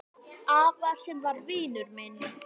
Afa sem var vinur minn.